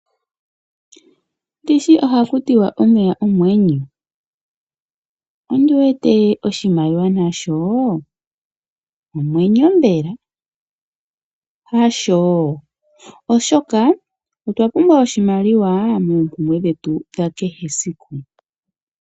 Ndishi ohaku tiwa omeya omwenyo . Ondiwete oshimaliwa nasho omwenyo oshoka otwe shi pumbwa moompumbwe dhetu dhakehe esiku.